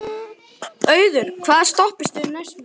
Auður, hvaða stoppistöð er næst mér?